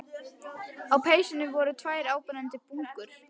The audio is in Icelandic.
Á peysunni voru tvær áberandi bungur.